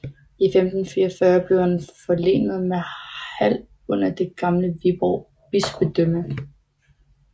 I 1544 blev han forlenet med Hald under det gamle Viborg bispedømme